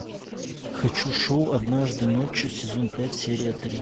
хочу шоу однажды ночью сезон пять серия три